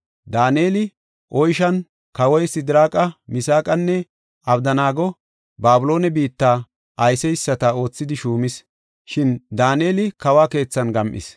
Daaneli oyshan, kawoy Sidiraaqa, Misaaqanne Abdanaago Babiloone biitta ayseysata oothidi shuumis; shin Daaneli kawo keethan gam7is.